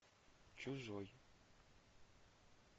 чужой